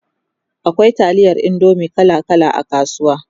akwai taliyar indomie kala kala a kasuwa